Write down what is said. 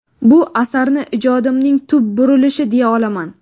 Bu asarni ijodimning tub burulishi deya olaman.